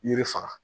Yiri faga